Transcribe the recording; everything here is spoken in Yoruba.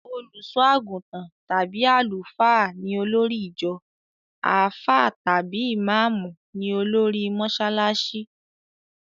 Olùsọ́-àgùntàn tàbí Àlùfáà ni olórí ìjọ; àfáà tàbí ìmáàmú ní olórí mọsálásí.